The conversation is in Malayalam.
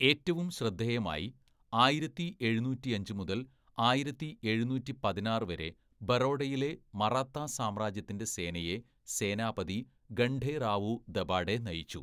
ഏറ്റവും ശ്രദ്ധേയമായി, ആയിരത്തി എഴുന്നൂറ്റിയഞ്ച് മുതല്‍ ആയിരത്തി എഴുന്നൂറ്റി പതിനാറ്‌ വരെ, ബറോഡയിലെ മറാത്ത സാമ്രാജ്യത്തിന്റെ സേനയെ സേനാപതി ഖണ്ഡേറാവു ദബാഡെ നയിച്ചു.